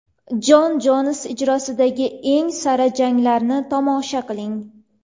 Jon Jons ijrosidagi eng sara janglarni tomosha qiling!